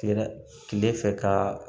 Kile kile fɛ ka